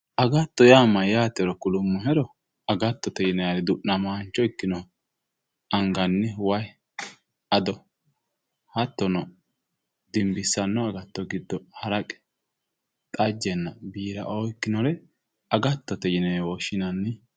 agtto yaa mayyatero kulummohero agattote yinanniri du'namaancho ikkinori anganni way ado hattono dimbissanno agatto giddo haraqe xajjenne biiraoo ikkinore agattote yinewe woshshinanni.